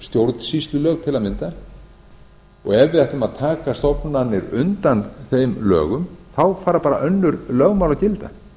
stjórnsýslulög til að mynda og ef við ætlum að taka stofnanir undan þeim dögum þá fara bara önnur lögmál að gilda